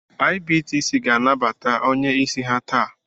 IBTC ga-anabata onye isi ha taa